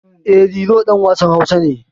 E, Lilo ɗan wasan Hausa ne.